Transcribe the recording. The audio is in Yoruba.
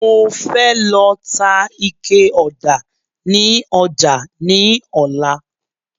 Mo fẹ́ lọ ta ike ọ̀dà ni ọjà ní ọlá